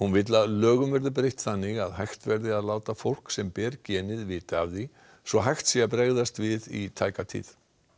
vill að lögum verði breytt þannig að hægt verði að láta fólk sem ber genið vita af því svo hægt sé að bregðast við í tæka tíð